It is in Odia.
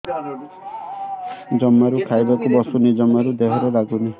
ଜମାରୁ ଖାଇବାକୁ ବସୁନି ଜମାରୁ ଦେହରେ ଲାଗୁନି